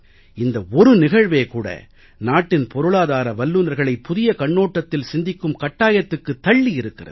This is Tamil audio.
இந்த ஒரு நிகழ்வே கூட நாட்டின் பொருளாதார வல்லுனர்களை புதிய கண்ணோட்டத்தில் சிந்திக்கும் கட்டாயத்துக்குத் தள்ளியிருக்கிறது